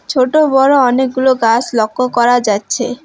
ছোট-বড় অনেকগুলো গাছ লক্ষ করা যাচ্ছে।